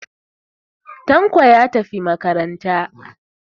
Tanko ya tafi makaranta.